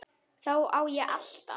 Þá á ég alltaf.